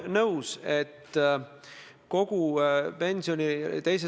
Nii et käitutakse erinevalt ja käekirjad on erinevad, härra Juske.